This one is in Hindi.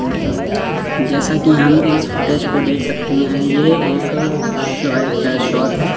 जैसा कि हम इस फोटोज़ को देख सकते है ये एक शॉप है।